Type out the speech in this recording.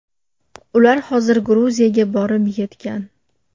Ular hozir Gruziyaga borib yetgan.